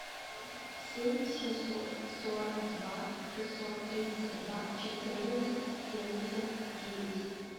семь семьсот сорок два шестьсот тридцать два четырнадцать семьдесят девять